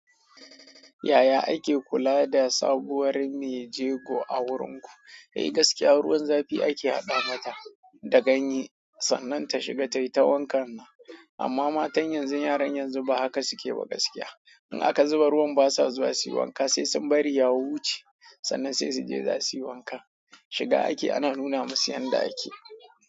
Yaya ake kula da sabuwar mai jego a wurinku? Kai gaskiya ruwan zafi ake haɗa mata da ganye sannan ta shiga taita wankan nan. Amma matan yanzu, yaran yanzu ba haka suke ba gaskiya. In aka zuba ruwan basa zuwa suyi wanka sai sun bari ya wuce sannan sai suje zasu yi wanka. Shiga ake ana nuna musu yanda ake.